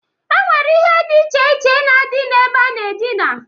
E nwere ihe di iche iche na-adị na-ebe a na-adina.